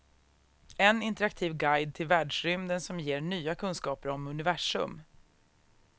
En interaktiv guide till världsrymden som ger nya kunskaper om universum.